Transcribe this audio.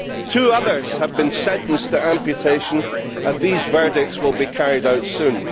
two others have been sentenced to amputation and these verdicts will be carried out soon.